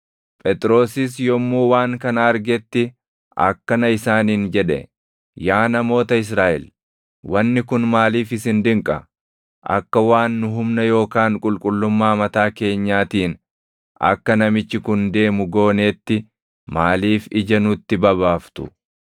Phexrosis yommuu waan kana argetti akkana isaaniin jedhe; “Yaa namoota Israaʼel wanni kun maaliif isin dinqa? Akka waan nu humna yookaan qulqullummaa mataa keenyaatiin akka namichi kun deemu gooneetti maaliif ija nutti babaaftu?